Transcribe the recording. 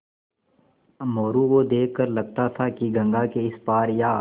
मोरू को देख कर लगता था कि गंगा के इस पार या